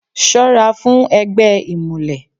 Ṣọ́ra fún ẹgbẹ́ ìmùlẹ̀.